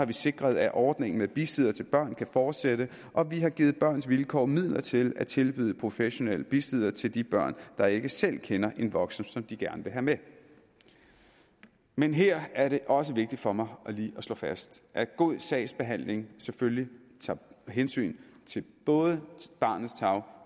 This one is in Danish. vi sikret at ordningen med bisiddere til børn kan fortsætte og vi har givet børns vilkår midler til at tilbyde professionel besiddere til de børn der ikke selv kender en voksen som de gerne vil have med men her er det også vigtigt for mig lige at slå fast at god sagsbehandling selvfølgelig tager hensyn til både barns tarv